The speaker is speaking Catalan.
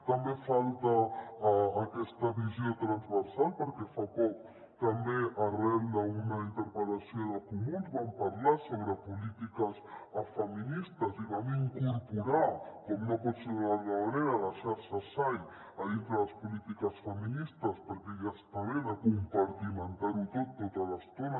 també falta aquesta visió transversal perquè fa poc també arran d’una interpellació dels comuns vam parlar sobre polítiques feministes i vam incorporar com no pot ser d’una altra manera la xarxa sai a dintre de les polítiques feministes perquè ja està bé de compartimentar ho tot tota l’estona